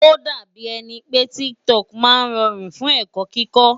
Ó dàbí ẹni pé TikTok máa rọrùn fún ẹ̀kọ́ kíkó.